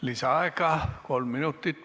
Lisaaeg kolm minutit.